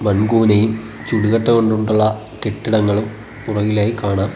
മൺകൂനയും ചുടുകട്ട കൊണ്ടുള്ള കെട്ടിടങ്ങളും പുറകിലായി കാണാം.